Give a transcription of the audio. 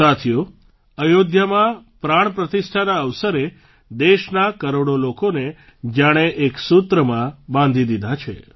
સાથીઓ અયોધ્યામાં પ્રાણ પ્રતિષ્ઠાના અવસરે દેશના કરોડો લોકોને જાણે કે એક સૂત્રમાં બાંધી દીધા છે